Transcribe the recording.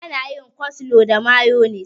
Ana yin coslo da mayonis.